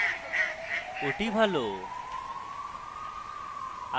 that ভালো